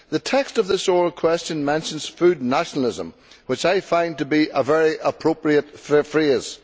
The text of this oral question mentions food nationalism, which I find to be a very appropriate phrase.